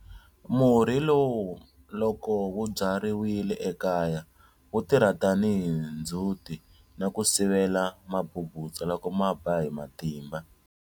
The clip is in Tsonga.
Murhi lowu loko wu byariwile ekaya wu tirha tanihi ndzhuti na ku sivela mabubutsa loko ma ba hi matimba.